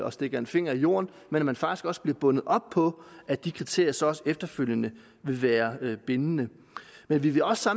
at stikke fingeren i jorden men at man faktisk også bliver bundet op på at de kriterier så også efterfølgende vil være bindende men vi vil også